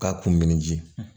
K'a kun min ji